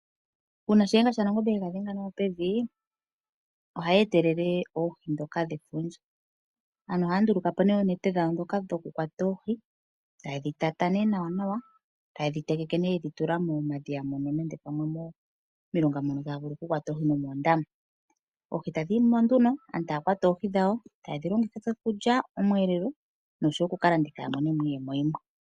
Uuna shiyenga sha nangombe yega dhenga nawa pevi ohayi etelele oohi dhoka dhefundja. Aantu ohaya nduluka po nee oonete dhawo dhoka dhokukwata oohi. Taye dhi tata nee nawanawa, taye dhi tegeke nee yedhi tula momadhiya mono nenge pamwe momilonga mono taya vulu okukwata oohi nomoondama. Oohi tadhi yimo nduno, aantu taya kwata oohi dhawo taye dhi longitha okulya omweelo, noshowo okukalanditha ya mone mo iiyemo yimwe.